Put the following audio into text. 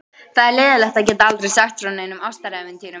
Það er leiðinlegt að geta aldrei sagt frá neinum ástarævintýrum.